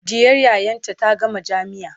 ɗiyar yayata ta gama jamia